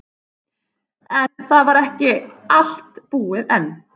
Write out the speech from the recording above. En það var ekki allt búið enn.